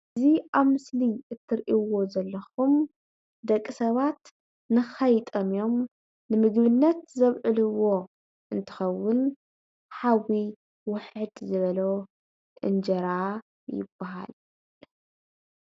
እዚ ኣብ ምስሊ እትርእይዎ ዘለኹም ደቂ ሰባት ንኸይጠምዮም ንምግብነት ዘውዕልዎ እንትኸውን ሓዊ ውሕድ ዝበሎ እንጀራ ይበሃል።